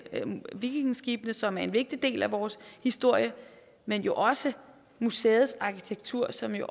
vikingeskibene som er en vigtig del af vores historie men også museets arkitektur som jo